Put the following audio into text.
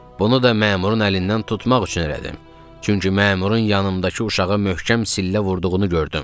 Bunu da məmurun əlindən tutmaq üçün elədim, çünki məmurun yanımdakı uşağı möhkəm sillə vurduğunu gördüm.